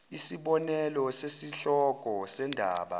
isibonelo sesihloko sendaba